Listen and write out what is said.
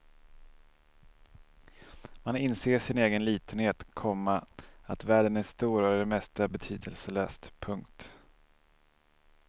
Man inser sin egen litenhet, komma att världen är stor och det mesta betydelselöst. punkt